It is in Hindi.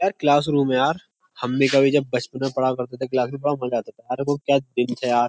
अर् क्लासरूम यार। हम भी कभी जब बच्चपन मे पड़ा करते थे बड़ा मजा आता था। अरे वो क्या दिन थे यार।